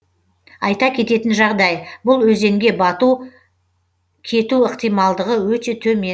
айта кететін жағдай бұл өзенге бату кету ықтималдылығы өте төмен